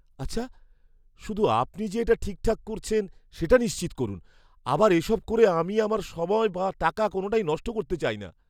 আচ্ছা, শুধু আপনি যে এটা ঠিকঠাক করছেন সেটা নিশ্চিত করুন। আবার এসব করে আমি আমার সময় বা টাকা কোনওটাই নষ্ট করতে চাই না।